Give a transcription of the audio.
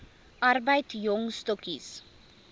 arbeid jong stokkies